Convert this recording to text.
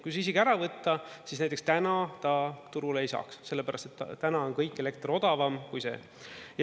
Kui see isegi ära võtta, siis näiteks täna ta turule ei saaks, sellepärast et täna on kõik elekter odavam kui see.